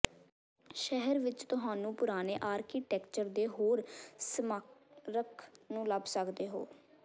ਸ਼ਹਿਰ ਵਿੱਚ ਤੁਹਾਨੂੰ ਪੁਰਾਣੇ ਆਰਕੀਟੈਕਚਰ ਦੇ ਹੋਰ ਸਮਾਰਕ ਨੂੰ ਲੱਭ ਸਕਦੇ ਹੋ